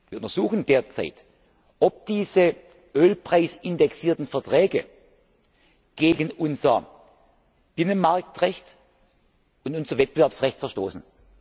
Wir untersuchen derzeit, ob diese ölpreisindexierten Verträge gegen unser Binnenmarktrecht und unser Wettbewerbsrecht verstoßen.